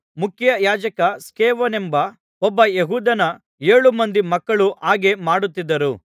ಮುಖ್ಯಯಾಜಕ ಸ್ಕೇವನೆಂಬ ಒಬ್ಬ ಯೆಹೂದ್ಯನ ಏಳು ಮಂದಿ ಮಕ್ಕಳೂ ಹಾಗೆ ಮಾಡುತ್ತಿದ್ದರು